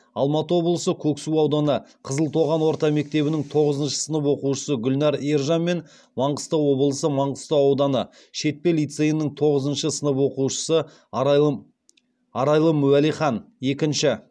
алматы облысы көксу ауданы қызылтоған орта мектебінің тоғызыншы сынып оқушысы гүлнәр ержан мен маңғыстау облысы маңғыстау ауданы шетпе лицейінің тоғызыншы сынып оқушысы арайлым уәлихан екінші